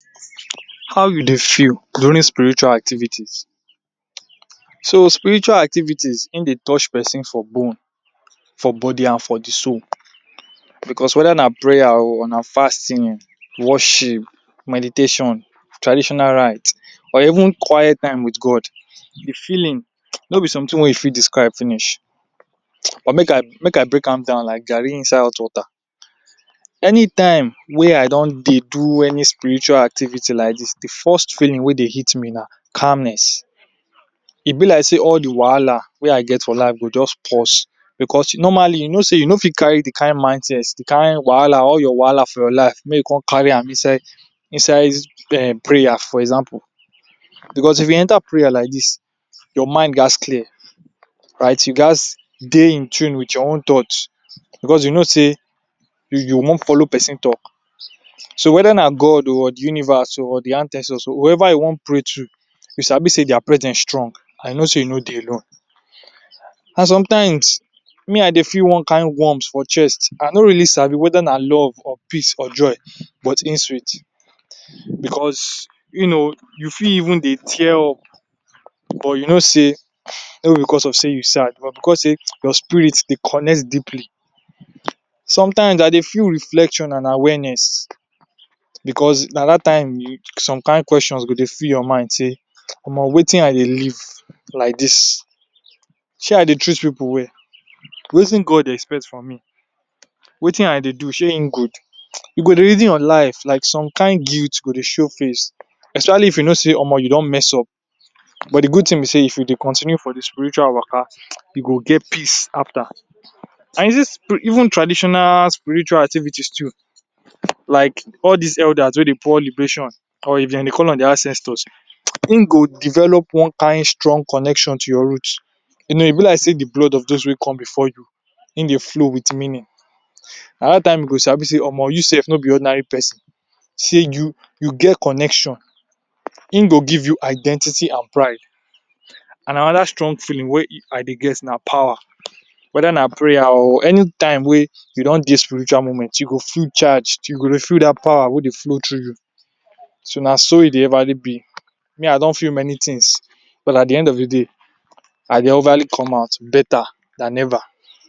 How you dey feel during spiritual activities. So, spiritual activities, e dey touch person for bone, for body and for de soul. Because whether na prayer or na fasting, worship, meditation, traditional rite or even quiet time wit God, de feeling no be something wey you fit describe finish. But make I, make I break am down like garri inside hot water. Anytime wey I don dey do any spiritual activity like dis, de first feeling wey dey hit me na calmness. E be like sey all de wahala wey I get for life go just pause because normally you know sey you no fit carry de kain mind set, de kain wahala, all your wahala for your life make you come carry am inside inside um prayer for example. Because if you enter prayer like dis, your mind ghats clear. Right, you ghats dey in tune wit your own thoughts because you know sey you you wan follow person talk. So whether na God oo or de universe or de ancestors; whoever you wan talk to you sabi sey their presence strong and you know sey you no dey alone. And sometimes me I dey feel one kain warmth for chest. I no really sabi whether na love or peace or joy, but im sweet because you know, you fit even dey tear up but you know sey no be because of sey you sad but because sey your spirit dey connect deeply. Sometimes I dey feel reflection and awareness because na dat time you some kain questions go dey full your mind sey, “omo wetin I dey live like dis, shey I dey treat pipu well, wetin God dey expect from me, wetin I dey do shey e go?”. You go reason your life like some kain guilt go dey show face especially if you know sey omo you don mess up but de good thing be sey if you dey continue for de spiritual waka, you go get peace after. And even traditional spiritual activities too like all dis elders wey dey pour liberation or if dem dey call am “their ancestors”, im go develop one kain strong connection to your root. You know e be like sey de blood of those wey come before you im dey flow wit meaning. Na dat time you go sabi sey omo you sef no be ordinary person till you you get connection. Im go give you identity and pride. And another strong feeling wey I dey get na power. Whether na prayer oo, anytime wey you don dey spiritual moment, you go charged, you go dey feel dat power wey dey flow through you. So na so e dey everly be. Me I don feel many things but at de end of de day I dey everly come out better than ever.